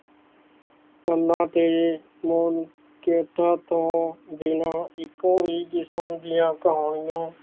ਇੰਨਾ ਤੇ ਮੌਨ ਚੋਕਾਂ ਤੋਂ ਇੱਕੋ ਹੀ ਜਿਸਮ ਦੀਆਂ ਕਹਾਣੀਆਂ